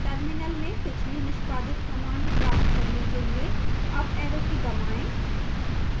terminal में पिछली निष्पादित command प्राप्त करने के लिए अप arrow की दबाएं